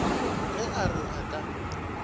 ge a re a ka